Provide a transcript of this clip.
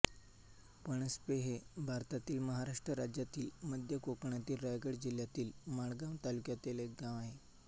पणस्पे हे भारतातील महाराष्ट्र राज्यातील मध्य कोकणातील रायगड जिल्ह्यातील माणगाव तालुक्यातील एक गाव आहे